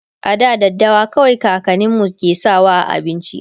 a da daddawa kawai kakaninmu ke sawa a abinci